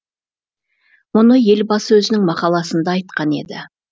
мұны елбасы өзінің мақаласында айтқан еді